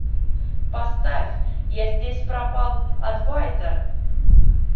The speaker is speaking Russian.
поставь я здесь пропал адвайта